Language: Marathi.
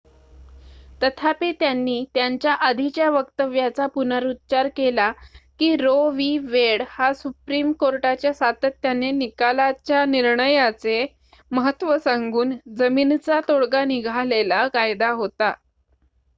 "तथापि त्यांनी त्यांच्या आधीच्या वक्तव्याचा पुनरुच्चार केला की रो वि. वेड हा सुप्रीम कोर्टाच्या सातत्याने निकालाच्या निर्णयाचे महत्त्व सांगून "जमीनचा तोडगा निघालेला कायदा" होता.